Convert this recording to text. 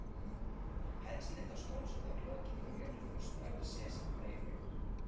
Penslið þá skonsurnar í lokin með mjólk og stráið sesamfræjum yfir.